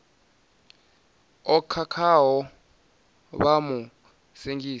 o khakhaho vha mu sengisa